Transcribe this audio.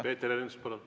Peeter Ernits, palun!